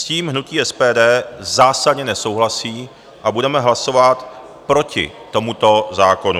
S tím hnutí SPD zásadně nesouhlasí a budeme hlasovat proti tomuto zákonu.